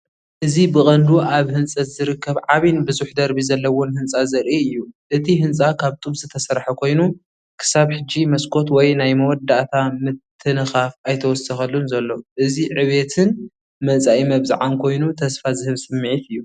እዚ ብቐንዱ ኣብ ህንጸት ዝርከብ ዓቢን ብዙሕ ደርቢ ዘለዎን ህንጻ ዘርኢ እዩ። እቲ ህንጻ ካብ ጡብ ዝተሰርሐ ኮይኑ፡ ክሳብ ሕጂ መስኮት ወይ ናይ መወዳእታ ምትንኻፍ ኣይተወሰኸሉን ዘሎ። እዚ ዕብየትን መጻኢ መብጽዓን ኮይኑ ተስፋ ዝህብ ሰምዒት እዩ።